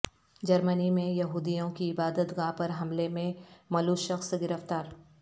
جرمنی میں یہودیوں کی عبادت گاہ پر حملے میں ملوث شخص گرفتار